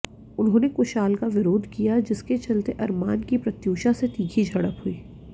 उन्होंने कुशाल का विरोध किया जिसके चलते अरमान की प्रत्यूषा से तीखी झड़प हुई